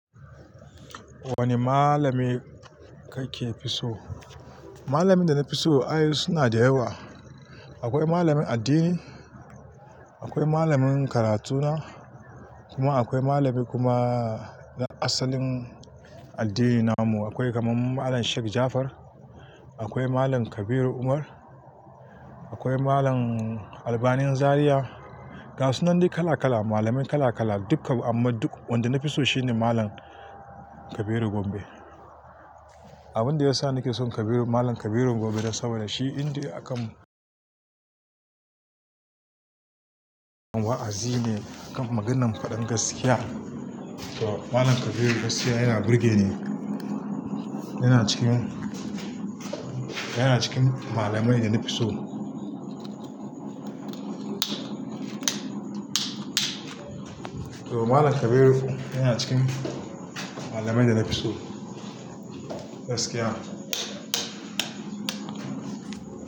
Wane malami kake fi so? Malamin da na fi so ai su na da yawa. Akwai malamin addini, akwai malamin karatuna kuma akwai malami kuma na asalin addinin mu. Akwai kamar Malam Sheik Ja'afar, akwai Malam Kabiru Umar, akwai Malam Albanin Zariya. Ga su nan duk kala kala, malamai kala kala duka, amma duk wanda na fi so shine Malam Kabiru Gombe. Abin da ya sa nake son Kabiru, Malam Kabiru Gombe don saboda shi in dai akan wa'azi ne kan maganan faɗan gaskiya. To Malam Kabiru gaskiya yana burge ni. Yana cikin, yana cikin malamai da na fi so. To Malam Kabiru yana cikin malamai da na fi so. Gaskiya.